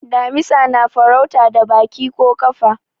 damisa na farauta da Baki ko kafa